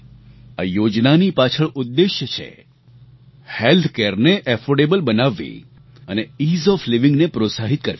આ યોજનાની પાછળ ઉદ્દેશ્ય છે હેલ્થ Careને એફોર્ડેબલ બનાવવી અને ઇઝ ઓએફ લાઇવિંગ ને પ્રોત્સાહિત કરવી